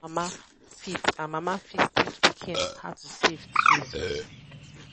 papa and mama fit and mama fit teach pikin how to save too